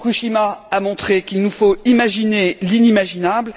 Fukushima a montré qu'il nous faut imaginer l'inimaginable.